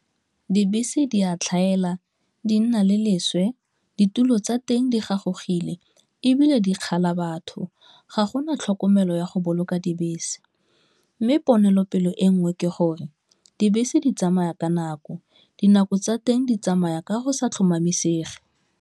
Dibese di a tlhaela, di nna le leswe, ditulo tsa teng di gagogile, ebile di kgala batho, ga gona tlhokomelo ya go boloka dibese mme ponelopele e nngwe ke gore dibese di tsamaya ka nako, dinako tsa teng di tsamaya ka go sa tlhomamisege.